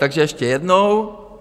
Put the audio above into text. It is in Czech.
Takže ještě jednou.